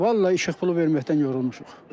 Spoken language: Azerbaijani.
Vallahi işıq pulu verməkdən yorulmuşuq.